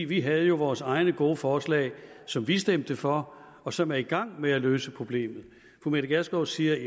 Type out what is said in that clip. vi havde jo vores egne gode forslag som vi stemte for og som er i gang med at løse problemet fru mette gjerskov siger